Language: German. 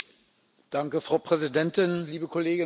Frau Präsidentin, liebe Kolleginnen und Kollegen!